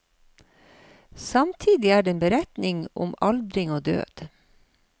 Samtidig er det en beretning om aldring og død.